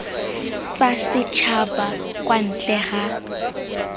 tsa setšhaba kwa ntle ga